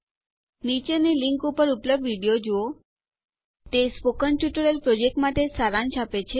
નીચેની લીંક ઉપર ઉપલબ્ધ વિડીયો જુઓ તે સ્પોકન ટ્યુટોરિયલ પ્રોજેક્ટ માટે સારાંશ આપે છે